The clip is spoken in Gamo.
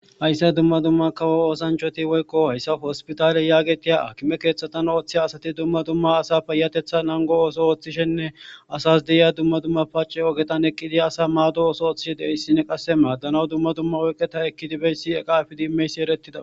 Hayssa dumma dumma kawo oosanchoti woykko hayssa hospitaale yaagetiya a kime keeththatan ooththiha asati dumma dumma asa payatetha nango ooso ooththishenne asas deyiya dumma dumma paace ogetan eqqidi asa maado ooso ooththishe deissine qasse maaddanaw dumma dumma oyqeta ekkidibeyssi eqa ifidi imeysi eretida